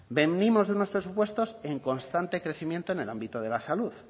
venimos de unos presupuestos en constante crecimiento en el ámbito de la salud